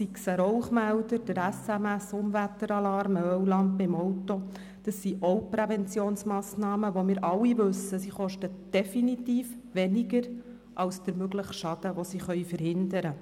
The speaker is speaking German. Auch ein Rauchmelder, ein SMS-Unwetteralarm oder eine Ölwarnlampe im Auto sind Präventionsmassnahmen, von denen wir alle wissen, dass sie definitiv weniger kosten als der mögliche Schaden, den sie verhindern können.